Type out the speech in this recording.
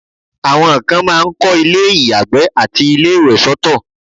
àwọn kan máà ń kọ́ ilé ìyàgbẹ́ àti ilé ìwẹ̀ soto